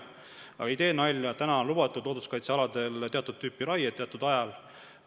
Aga ma ei tee nalja, praegu on looduskaitsealadel lubatud teatud tüüpi raie teatud ajal.